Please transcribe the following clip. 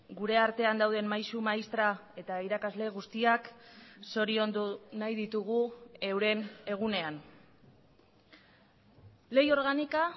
gure artean dauden maisu maistra eta irakasle guztiak zoriondu nahi ditugu euren egunean ley orgánica